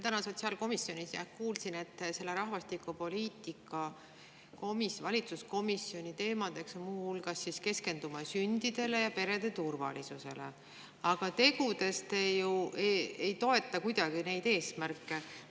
Täna sotsiaalkomisjonis kuulsin, et rahvastikupoliitika valitsuskomisjoni teemadeks on muu hulgas keskendumine sündidele ja perede turvalisusele, aga tegudes te ju ei toeta kuidagi neid eesmärke.